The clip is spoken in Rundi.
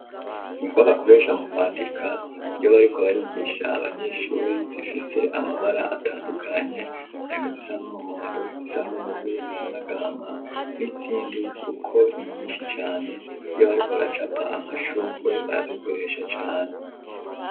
Ingwa bakoresha mu kwandika iyo bariko barigisha abanyeshure zifise amabara atandukanye, harimwo izisa n'umuhondo izisa n'ubururu izisanagama n'izindi kuko ni nyinshi cane, iyo bariko baracapa amashugwe barazikoresha cane.